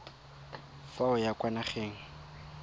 fa o ya kwa nageng